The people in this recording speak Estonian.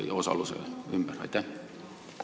Nendes osalemises ei nähta mingit tragöödiat.